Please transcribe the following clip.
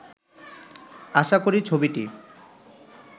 আশা করি ছবিটি